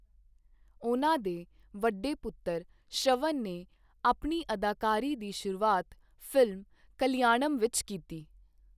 ਉਹਨਾਂ ਦੇ ਵੱਡੇ ਪੁੱਤਰ ਸ਼ਰਵਨ ਨੇ ਆਪਣੀ ਅਦਾਕਾਰੀ ਦੀ ਸ਼ੁਰੂਆਤ ਫਿਲਮ ਕਲਿਆਣਮ ਵਿੱਚ ਕੀਤੀ।